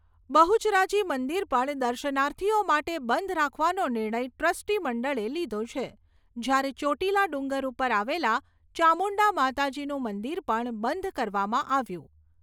બહુચરાજી મંદિર પણ દર્શનાર્થીઓ માટે બંધ રાખવાનો નિર્ણય ટ્રસ્ટી મંડળે લીધો છે જ્યારે ચોટીલા ડુંગર ઉપર આવેલા ચામુંડા માતાજીનું મંદિર પણ બંધ કરવામાં આવ્યું.